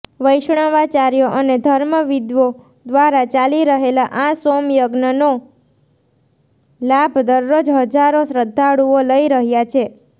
વૈષ્ણવાચાર્યો અને ધર્મવિદ્દો દ્વારા ચાલી રહેલા આ સોમયજ્ઞનો લાભ દરરોજ હજારો શ્રઘ્ધાળુઓ લઇ રહ્યા છે